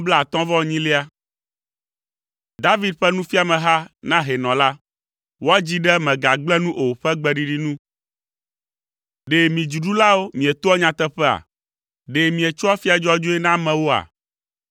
David ƒe nufiameha na hɛnɔ la. Woadzii ɖe “Mègagblẽ nu o” ƒe gbeɖiɖi nu. Ɖe mi dziɖulawo mietoa nyateƒea? Ɖe mietsoa afia dzɔdzɔe na amewoa?